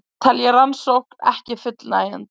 Telja rannsókn ekki fullnægjandi